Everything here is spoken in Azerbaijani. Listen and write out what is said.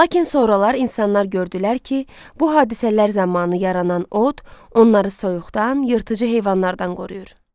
Lakin sonralar insanlar gördülər ki, bu hadisələr zamanı yaranan od onları soyuqdan, yırtıcı heyvanlardan qoruyur.